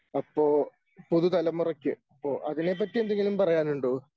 അപ്പോ പുതുതലമുറയ്ക്ക് അപ്പോ അതിനെ പറ്റി എന്തെങ്കിലും പറയാനുണ്ടോ?